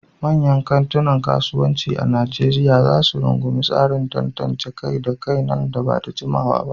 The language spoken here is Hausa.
Manyan kantunan kasuwanci a Nijeriya za ta rungumi tsarin tantance kai da kai nan ba da jimawa ba.